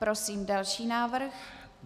Prosím další návrh.